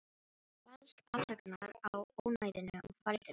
Baðst afsökunar á ónæðinu og færði mig.